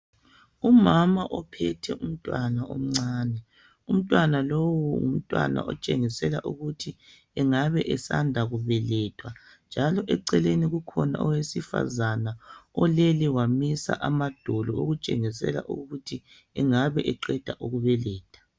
umama ophethwe umntwana omncane, umntwana lowo ngumntwana otshengisela ukuthi ngumntwana osanda kubelethwa njalo eceleni kukhona owesifazani olele wamisa amadolo okutshengisela ukuthi engabe ekuqeda ukubeletha.